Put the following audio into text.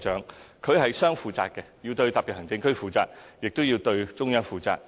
行政長官是雙負責的，要對特別行政區負責，亦要對中央負責。